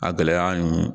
A gɛlɛya nin